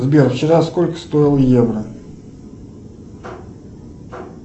сбер вчера сколько стоил евро